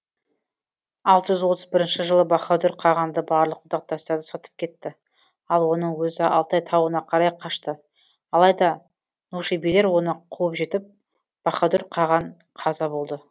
алты жүз отыз бірінші жылы баһадүр қағанды барлық одақтастары сатып кетті ал оның өзі алтай тауына қарай қашты алайда нушебилер оны қуып жетіп баһадүр қаған қаза болды